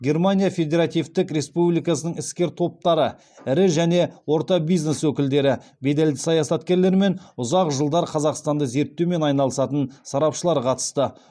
германия федеративтік республикасының іскер топтары ірі және орта бизнес өкілдері беделді саясаткерлер мен ұзақ жылдар қазақстанды зерттеумен айналысатын сарапшылар қатысты